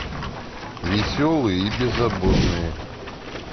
веселые и беззаботные